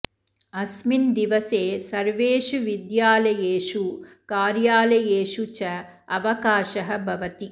अस्मिन् दिवसे सर्वेषु विद्यालयेषु कार्यालयेषु च अवकाशः भवति